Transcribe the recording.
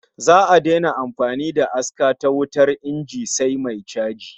Za'a daina amfani da aska ta wutar inji sai mai chaji